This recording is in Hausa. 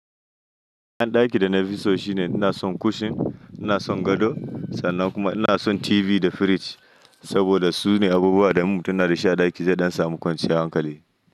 Yan daki da na fi so shine ina son kushin, ina son gado sannan kuma ina son TV da firij saboda sune abubuwa da mutum yana da shi a ɗaki don samu kwanciyar hankali.